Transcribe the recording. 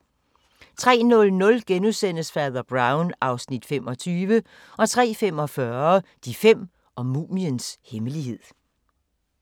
03:00: Fader Brown (Afs. 25)* 03:45: De fem og mumiens hemmelighed